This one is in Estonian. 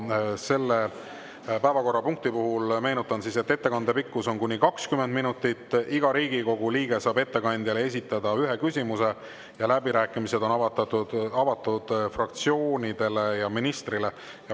Selle päevakorrapunkti puhul meenutan, et ettekande pikkus on kuni 20 minutit, iga Riigikogu liige saab ettekandjale esitada ühe küsimuse ja läbirääkimised on avatud fraktsioonidele ja ministrile.